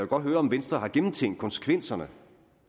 godt høre om venstre har gennemtænkt konsekvenserne